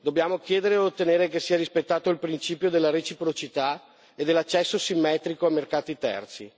Dobbiamo chiedere e ottenere che sia rispettato il principio della reciprocità e dell'accesso simmetrico a mercati terzi.